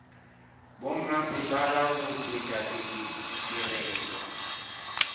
bommasepala go tšwetša pele ditirelo